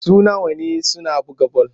Suna wane suna buga bal.